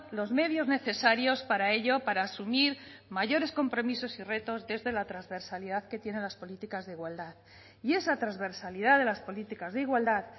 los medios necesarios para ello para asumir mayores compromisos y retos desde la transversalidad que tienen las políticas de igualdad y esa transversalidad de las políticas de igualdad